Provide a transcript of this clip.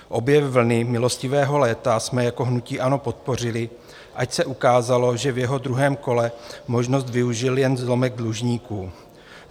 Obě vlny milostivého léta jsme jako hnutí ANO podpořili, ač se ukázalo, že v jeho druhém kole možnost využil jen zlomek dlužníků.